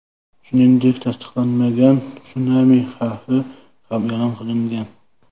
Shuningdek, tasdiqlanmagan sunami xavfi ham e’lon qilingan.